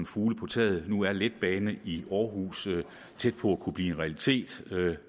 fugle på taget nu er en letbane i aarhus tæt på at kunne blive en realitet